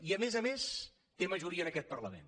i a més a més té majoria en aquest parlament